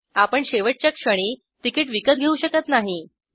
आपण शेवटच्या क्षणी तिकीट विकत घेऊ शकत नाही